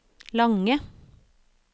lange